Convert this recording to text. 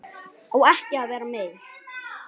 Á ekki að vera meir.